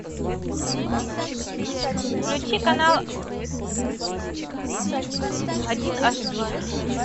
включи канал один эйч ди